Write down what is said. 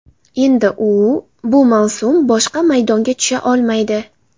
Endi u bu mavsum boshqa maydonga tusha olmaydi.